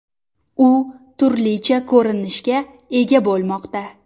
U turlicha ko‘rinishga ega bo‘lmoqda.